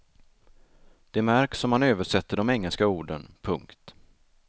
Det märks om man översätter de engelska orden. punkt